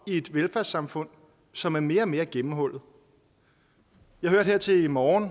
i et velfærdssamfund som er mere og mere gennemhullet jeg hørte her til morgen